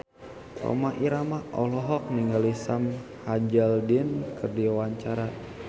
Rhoma Irama olohok ningali Sam Hazeldine keur diwawancara